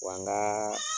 Wa n ka